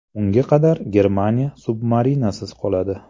Unga qadar Germaniya submarinasiz qoladi.